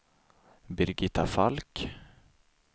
Birgitta Falk